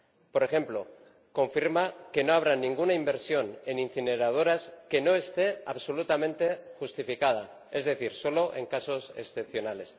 Por ejemplo, confirma que no habrá ninguna inversión en incineradoras que no esté absolutamente justificada, es decir, solo en casos excepcionales.